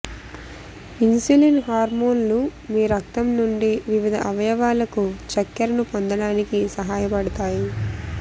insulin హార్మోన్లు మీ రక్తం నుండి వివిధ అవయవాలకు చక్కెరను పొందడానికి సహాయపడతాయి